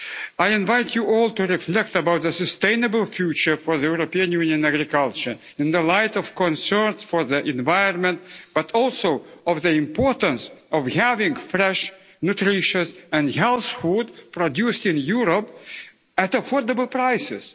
I invite you all to reflect about a sustainable future for European Union agriculture in the light of concerns for the environment, but also on the importance of having fresh, nutritious and healthy food produced in Europe at affordable prices.